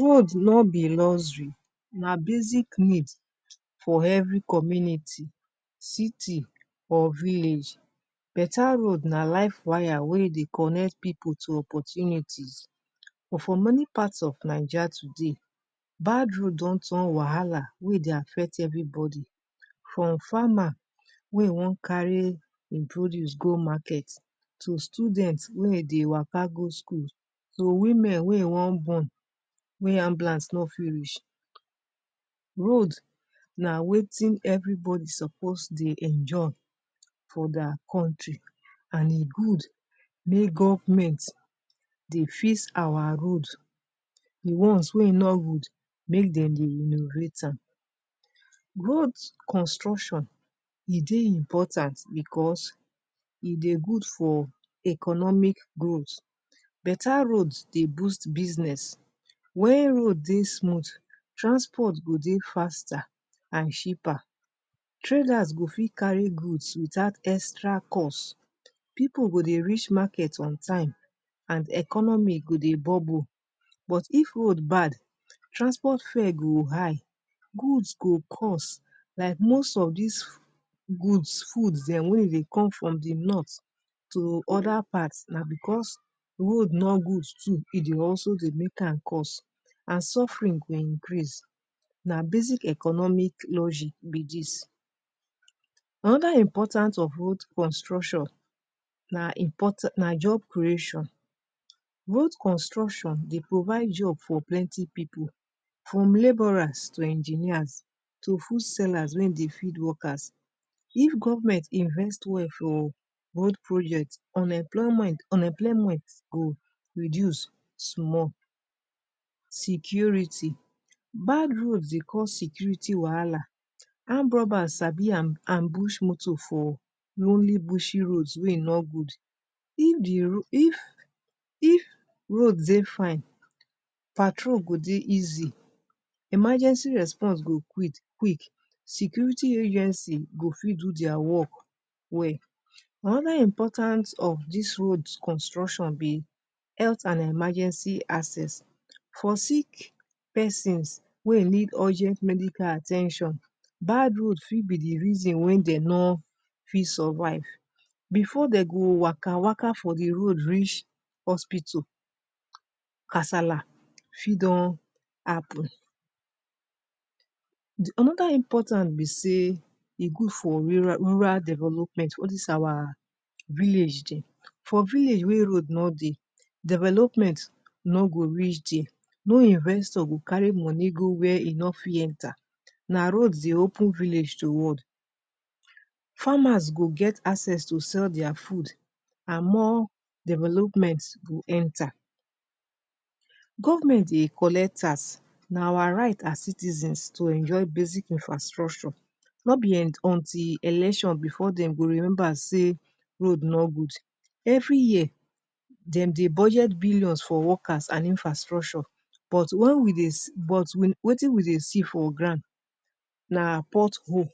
Road no be luxuy na basic need for every community citi or village beta road na life wire wey dey connect people to opportunities but for many of Naija today bad road don turn wala wey dey affect everybody from farmer wey e wan carry en produce go market to student wey e dey waka go school to woman wey e wan born wey ambulance no fit reach road na wetin everybody suppose dey enjoy for deir country and e good mae government dey fix our road di one's wey e no good make dem dey renovate am road construction e dey important because e dey good for economic growth beta road dey boost business when road dey smooth transport go dey faster and cheaper traders go fit carry goods without extra cos people go dey reach market on time and economy go dey bubble but if road bad transport fare go high goods go coss like most of dis fu goods food dem wey dey come from di North to oda path na because road nor good too e dey also dey make am coss and suferin go increase na basic economic logic be dis anoda important of road construction na import na job creation road construction dey provide job for plenti people from laborers to engineers to food sellers wey e dey feed workers if govment invest well for road project unmployment unemployment go reduce small security bad road dey cause security wala arm bugger sabi am ambush moto for lonely bush road wey e no good if di if if road dey fine patrol go dey easy emergency response go quick quick security agency go fit do deir work well anoda important of dis road construction be health and emergency access for sick persons wey e need urgent medical at ten tion bad road fit be di reason wen dem no fit survive before dem go waka waka for di road reach hospital kasala fih don happun anoda important be sey e good for ru rural development al dis our village dem for village wey road no dey development no go reach there no investor go carry money go where e no fit enter na road dey open village to world farmers go get access to sell deir food and more development go enter govment dey colet tas na awar right as citizens to enjoy basic infrastructure no be end no be until election before dem go remember sey road no good everi year dem dey budget billions for workers and infrastructure but wen we dey c wetin we dey see for grand na pot hole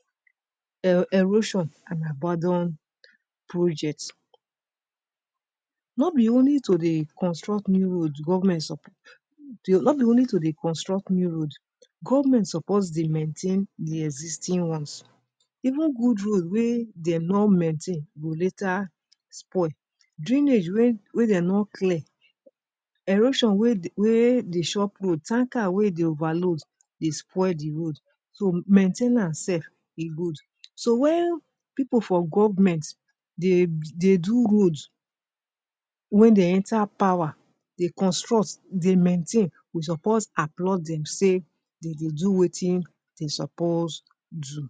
er erosion an abandon project no be only to dey construct mini no be only to dey construct new road govment supose dey mentan di existing ones even good road wey dem no maintain go later spoil drainage wey wey dem no clear erosion wey wey dey chop road tanker wey dey overload dey spoil di road so main ten ance sef e good so wen people for govment dey dey do road wey dem enter power dey construct dey maintain we suppose applaud dem sey dem dey do wetin dem suppose do